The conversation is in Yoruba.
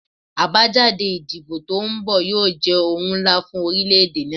Abajade idibo to nbọ yoo jẹ ohun nla fun orilẹ-ede naa